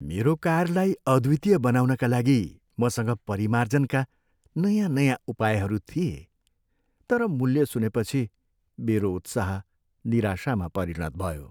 मेरो कारलाई अद्वितीय बनाउनका लागि मसँग परिमार्जनका नयाँ नयाँ उपायहरू थिए, तर मूल्य सुनेपछि, मेरो उत्साह निराशामा परिणत भयो।